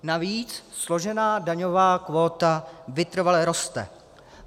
Navíc složená daňová kvóta vytrvale roste.